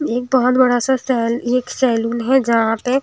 एक बहोत बड़ासा सेल एक सैलून है जहां पे--